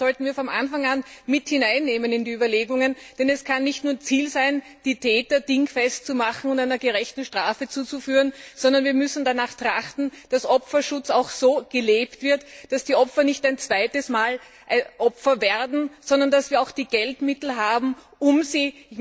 Das sollten wir von Anfang an in die Überlegungen mit hineinnehmen, denn es kann nicht nur Ziel sein, die Täter dingfest zu machen und einer gerechten Strafe zuzuführen, sondern wir müssen auch danach trachten, dass Opferschutz so gelebt wird, dass die Opfer nicht ein zweites Mal Opfer werden, sondern dass wir auch die Geldmittel haben, um sie